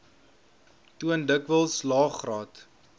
toon dikwels laegraad